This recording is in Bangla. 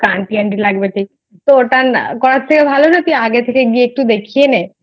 তোকে Aunty Aunty লাগবে দেখতে তো ওটা করার থেকে ভালো না যে তুই আগে গিয়ে দেখিয়ে নে